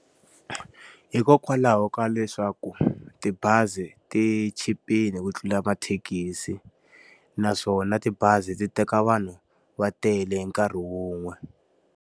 Hikokwalaho ka leswaku tibazi ti chipile ku tlula mathekisi, naswona tibazi ti teka vanhu va tele hi nkarhi wun'we.